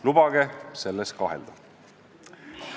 Lubage selles kahelda!